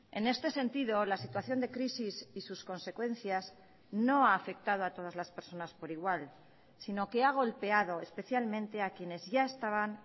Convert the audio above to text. en este sentido la situación de crisis y sus consecuencias no ha afectado a todas las personas por igual sino que ha golpeado especialmente a quienes ya estaban